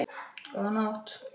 Góða nótt!